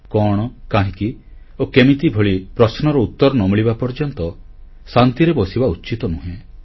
କଣ କାହିଁକି ଓ କେମିତି ଭଳି ପ୍ରଶ୍ନର ଉତ୍ତର ନ ମିଳିବା ପର୍ଯ୍ୟନ୍ତ ଶାନ୍ତିରେ ବସିବା ଉଚିତ ନୁହେଁ